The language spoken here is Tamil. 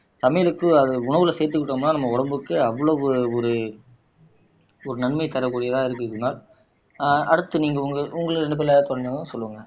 சமையலுக்கு அது உணவுல சேர்த்துக்கிட்டோம்னா நம்ம உடம்புக்கு அவ்வளவு ஒரு ஒரு நன்மை தரக்கூடியதா இருக்கு குணால் ஆஹ் அடுத்து நீங்க உங்க உங்கள தெரிஞ்சவங்க சொல்லுங்க